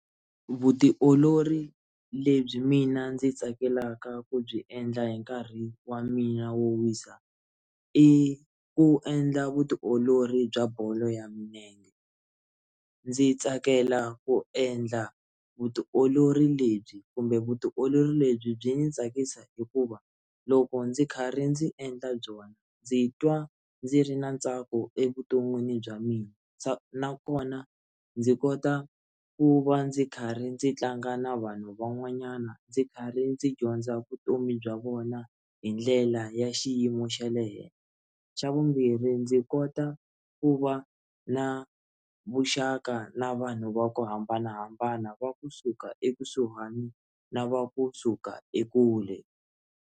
Vutiolori lebyi mina ndzi tsakelaka ku byi endla hi nkarhi wa mina wo wisa i ku endla vutiolori bya bolo ya milenge ndzi tsakela ku endla vutiolori lebyi kumbe vutiolori lebyi byi ndzi tsakisa hikuva loko ndzi karhi ndzi endla byona ndzi twa ndzi ri na ntsako evuton'wini bya mina nakona ndzi kota ku va ndzi karhi ndzi tlanga na vanhu van'wanyana ndzi karhi ndzi dyondza vutomi bya vona hi ndlela ya xiyimo xa le henhla xa vumbirhi ndzi kota ku va na vuxaka na vanhu va ku hambanahambana va kusuka ekusuhani na va kusuka ekule.